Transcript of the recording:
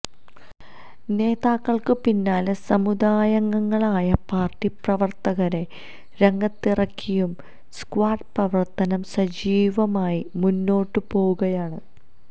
നേതാക്കൾക്ക് പിന്നാലെ സമുദായ അംഗങ്ങളായ പാർട്ടി പ്രവർത്തകരെ രംഗത്തിറക്കിയും സ്ക്വാഡ് പ്രവർത്തനം സജീവമായി മുന്നോട്ട് പോകുകയാണ്